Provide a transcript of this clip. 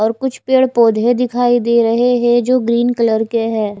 और कुछ पेड़ पौधे दिखाई दे रहे है जो ग्रीन कलर के है।